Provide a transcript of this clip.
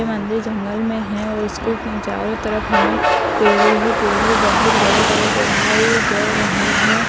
मंदिर जंगल में है और उसके तीन चारों तरफ हमें पेड़ ही पेड़ बहुत बड़े-बड़े दिखाई दे रहे है।